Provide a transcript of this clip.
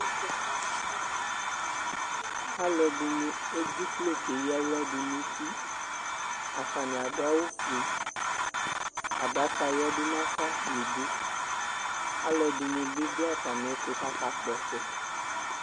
Alʋɛdini edziklo kʋ aya aɣla dʋnʋ uti atani adʋ awʋfue adaka yadʋ nafa nʋ idʋ alʋɛdini bi dʋ atami ɛtʋ kʋ akakpɔ ɔtsɛ